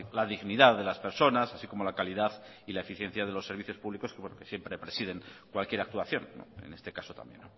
la dignidad de las personas así como la calidad y la eficiencia de los servicios públicos porque siempre presiden cualquier actuación en este caso también